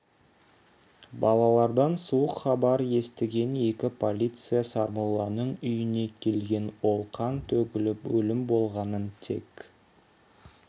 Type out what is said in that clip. балалардан суық хабар естіген екі полиция сармолланың үйіне келген ол қан төгіліп өлім болғанын тек